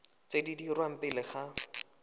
tse di dirwang pele ga